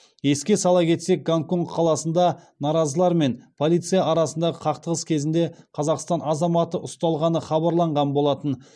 еске сала кетсек гонконг қаласында наразылар мен полиция арасындағы қақтығыс кезінде қазақстан азаматы ұсталғаны хабарланған болатын